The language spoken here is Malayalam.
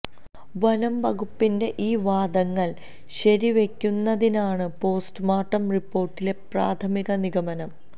വനം വകുപ്പിന്റെ ഈ വാദങ്ങൾ ശരിവയ്ക്കുന്നതാണ് പോസ്റ്റുമോർട്ടം റിപ്പോർട്ടിലെ പ്രാഥമിക നിഗമനം